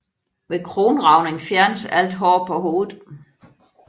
Ved kronragning fjernes alt hår på hovedet